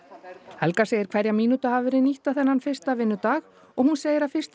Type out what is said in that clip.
helga segir hverja mínútu hafa verið nýtta þennan fyrsta vinnudag og hún segir að á fyrsta